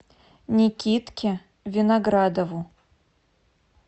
никитке виноградову